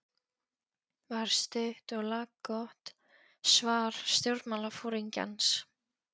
var stutt og laggott svar stjórnmálaforingjans.